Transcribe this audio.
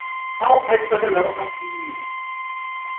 ao a itlhokelago a fiwe